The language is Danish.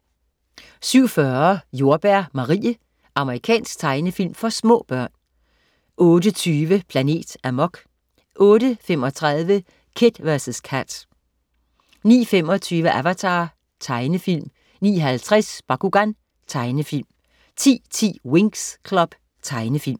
07.40 Jordbær Marie. Amerikansk tegnefilm for små børn 08.20 Planet Amok 08.35 Kid vs Kat 09.25 Avatar. Tegnefilm 09.50 Bakugan. Tegnefilm 10.10 Winx Club. Tegnefilm